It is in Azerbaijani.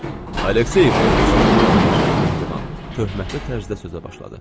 Aleksey İvanoviç, general mehriban, töhmətli tərzdə sözə başladı.